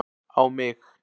á mig.